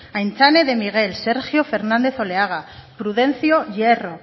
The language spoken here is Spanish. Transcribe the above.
aintzane de miguel sergio fernández oleaga prudencio hierro